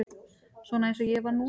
Svona eins og ég var núna.